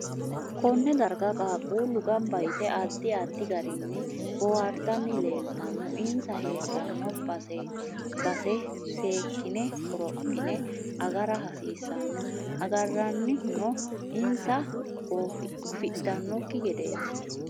Konne dargga qasqullu gannba yitte addi addi garinni boohartani leeltsnno insa heedhanno baseseekine qorophine agara hasiisanno agaranni huno insa gofidhanokki gedeeti